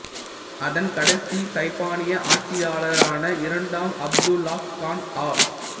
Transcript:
அதன் கடைசி சைபானிய ஆட்சியாளரான இரண்டாம் அப்துல்லாஹ் கான் ஆ